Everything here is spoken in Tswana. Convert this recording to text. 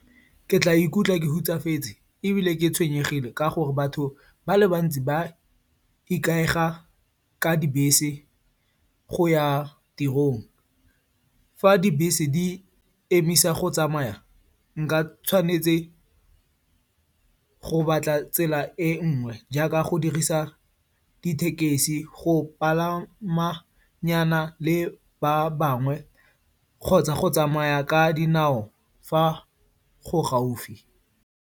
Ke tla ikutlwa ke hutsafetse ebile ke tshwenyegile ka gore batho ba le bantsi ba ikaega ka dibese go ya tirong. Fa dibese di emisa go tsamaya, nka tshwanela ke go batla tsela e nngwe jaaka go dirisa dithekesi, go palama nyana le ba bangwe kgotsa go tsamaya ka dinao fa go le gaufi.